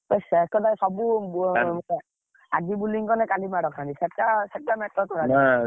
ଏକାଥରେ ସବୁ ଆଜି bowling ମାନେ କାଲି ମାଡ଼ ଖାଆନ୍ତି ସେଟା ସେଟା matter